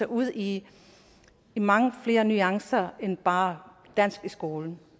ud i mange flere nuancer end bare er dansk i skolen